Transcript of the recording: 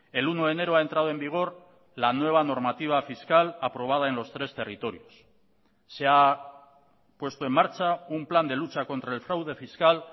el uno de enero ha entrado en vigor la nueva normativa fiscal aprobada en los tres territorios se ha puesto en marcha un plan de lucha contra el fraude fiscal